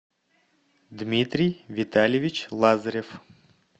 дмитрий витальевич лазарев